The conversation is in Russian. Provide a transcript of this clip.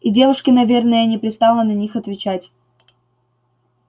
и девушке наверное не пристало на них отвечать